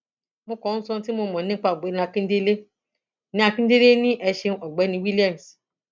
mo kàn ń sọ ohun tí mo mọ nípa ọgbẹni akíndélé ní àkíndélé ni e ṣeun ọgbẹni williams